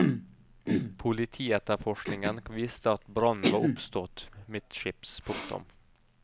Politietterforskningen viste at brannen var oppstått midtskips. punktum